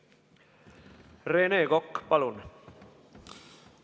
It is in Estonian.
Rene Kokk, palun!